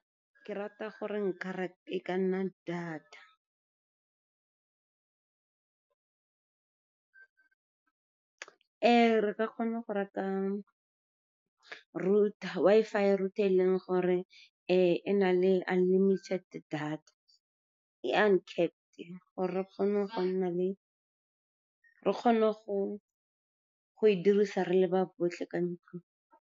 Ke rata gore nkare e ka nna data re ka kgona go reka Wi-Fi router e e leng gore e na le unlimited data, e uncapped-e gore re kgone go e dirisa re le ba botlhe ka ntlong.